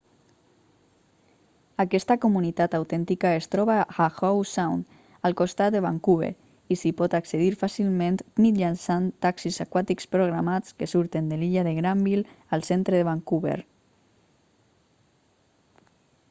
aquesta comunitat autèntica es troba a howe sound al costat de vancouver i s'hi pot accedir fàcilment mitjançant taxis aquàtics programats que surten de l'illa de granville al centre de vancouver